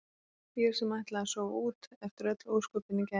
Ég sem ætlaði að sofa út eftir öll ósköpin í gær.